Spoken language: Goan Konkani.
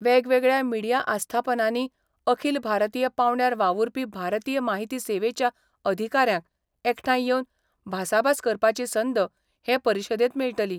वेगवेगळ्या मिडिया आस्थापनांनी अखील भारतीय पांवड्यार वावुरपी भारतीय माहिती सेवेच्या अधिकाऱ्यांक एकठांय येवन भासाभास करपाची संद हे परिशदेंत मेळटली.